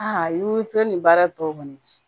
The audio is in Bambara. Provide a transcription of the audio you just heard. Aa i te nin baara tɔ kɔni